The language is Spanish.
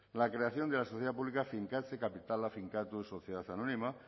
la creación de la sociedad pública finkatze kapitala finkatuz sociedad anónima